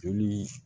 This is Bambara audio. Joli